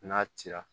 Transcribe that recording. N'a cira